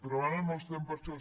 però ara no estem per això